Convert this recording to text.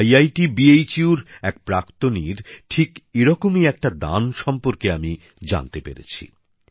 IIT Benares Hindu বিশ্ববিদ্যালয়ের এক প্রাক্তনীর ঠিক এরকমই একটি দান সম্পর্কে আমি জানতে পেরেছি